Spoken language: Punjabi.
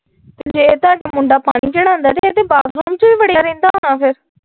ਜੇ ਮੁੰਡਾ ਪਾਣੀ ਚੜ੍ਹਾਉਂਦਾ ਇਹ ਤਾ ਬਾਥਰੂਮ ਚ ਈ ਵੜ੍ਹਿਆ ਰਹਿੰਦਾ ਹੋਣਾ ਫਿਰ?